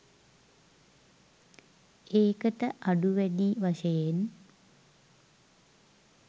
ඒක ට අඩු වැඩි වශයෙන්